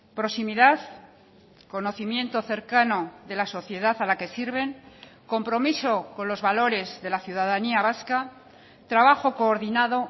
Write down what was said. proximidad conocimiento cercano de la sociedad a la que sirven compromiso con los valores de la ciudadanía vasca trabajo coordinado